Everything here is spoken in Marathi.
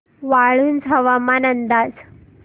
वाळूंज हवामान अंदाज